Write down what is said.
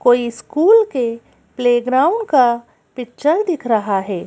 कोई स्कूल के प्लेग्राउंड का पिक्चर दिख रहा हैं।